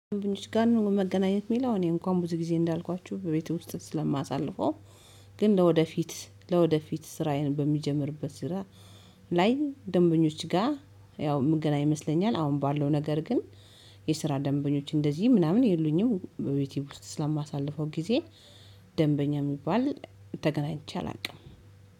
መገናኘት የሚለው እኔ እንኳን ብዙ ጊዜ እንዳልኳችሁ በቤቱ ውስጥ ስለማሳልፈው። ግን ለወደፊት ለወደፊት ስራዬን በሚጀምርበት ስራ ላይ ደንበኞች ጋር ያው ምገናኝ ይመስለኛል። አሁን ባለው ነገር ግን የስራ ደንበኞች እንደዚህ ምናምን የሉኝም በቤቴ ውስጥ ስለማሳልፈው ጊዜ። ደንበኛ የሚባል ተገናኝቼ አላውቅም።